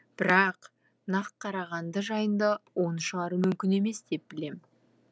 бірақ нақ қарағанды жайында оны шығару мүмкін емес деп білем